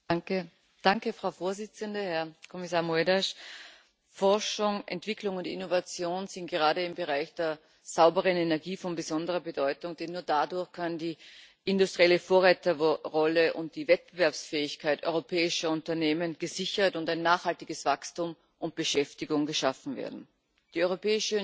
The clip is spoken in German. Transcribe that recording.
Frau Präsidentin, Herr Kommissar Moedas! Forschung, Entwicklung und Innovation sind gerade im Bereich der sauberen Energie von besonderer Bedeutung, denn nur dadurch kann die industrielle Vorreiterrolle und die Wettbewerbsfähigkeit europäischer Unternehmen gesichert und ein nachhaltiges Wachstum und Beschäftigung geschaffen werden. Die Europäische Union ist heute